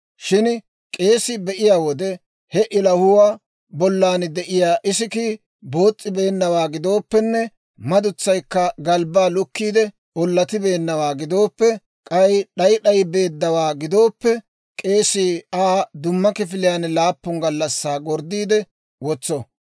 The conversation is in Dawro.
Shin k'eesii be'iyaa wode, he ilahuwaa bollan de'iyaa isikkii boos's'ibeennawaa gidooppenne madutsaykka galbbaa lukkiide ollatibeennawaa gidooppe, k'ay d'ay d'ay beeddawaa gidooppe, k'eesii Aa dumma kifiliyaan laappun gallassaa gorddiide wotso.